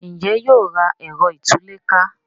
Njé yóò rà Ẹ̀rọ ìtúlẹ̀ká?